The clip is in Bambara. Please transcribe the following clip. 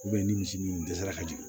ni misi min dɛsɛra ka jigin